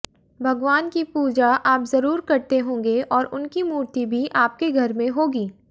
भगवान की पूजा आप जरूर करते होंगे और उनकी मूर्ति भी आपके घर में होगी